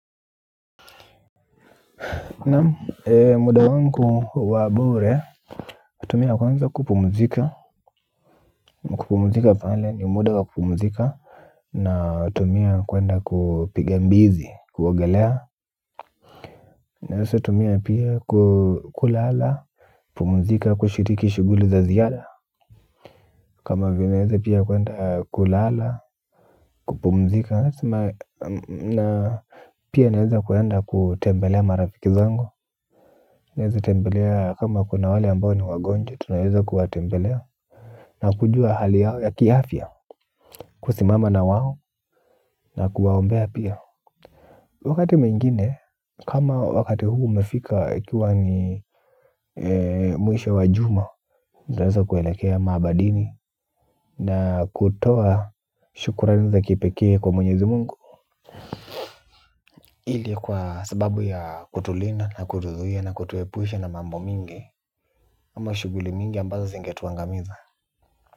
Ee muda wangu wa bure tumia kwanza kupumzika kupumzika pale ni muda wa kupumzika na tumia kuenda kupiga mbizi kuogelea naeza tumia pia kulala pumzika kushiriki shughuli za ziada kama vile naeza pia kuenda kulala kupumzika na pia niweze kuenda kutembelea marafiki zango naeza tembelea kama kuna wale ambao ni wagonjwa tunaweza kuwatembelea. Na kujua hali yao ya kiafya kusimama na wao na kuwaombea pia. Wakati mwingine kama wakati huu umefika ikiwa ni mwisho wa juma naweza kuelekea maabadini. Na kutoa shukrani za kipekee kwa mwenyezi mungu ili kwa sababu ya kutulinda na kutuzuia na kutuepusha na mambo mingi. Ama shughuli mingi ambazo zinge tuangamiza.